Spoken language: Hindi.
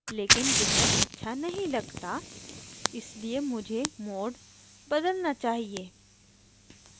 लेकिन यह अच्छा नहीं लगता इसलिए मुझे mode बदलना चाहिए